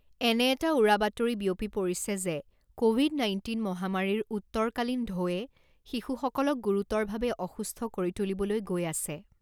এনে এটা উৰা বাতৰি বিয়পি পৰিছে যে ক'ভিড নাইণ্টিন মহামাৰীৰ উত্তৰকালীন ঢৌৱে শিশুসকলক গুৰুতৰভাৱে অসুস্থ কৰি তুলিবলৈ গৈ আছে।